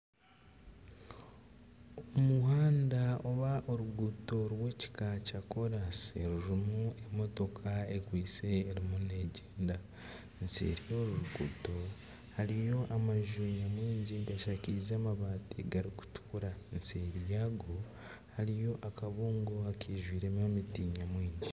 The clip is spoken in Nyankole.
Omuhanda oba oruguuto rw'ekika kya kolansi rurimu emotoka ekwaitse erimu negyenda nseeri y'oruruguuto hariyo amaju nyamwingi gashakaize amabaati garikutukura nseeri yago hariyo akabuungo akaijwiremu emiti nyamwingi.